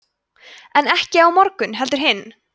en ekki á morgun heldur hinn